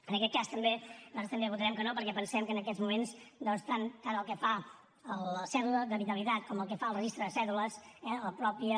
en aquest cas nosaltres també votarem que no perquè pensem que en aquests moments doncs tant el que fa la cèdula d’habitabilitat com el que fa el registre de cèdules eh la mateixa